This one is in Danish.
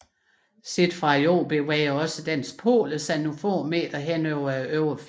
Set fra Jorden bevæger også dens poler sig nogle få meter hen over overfladen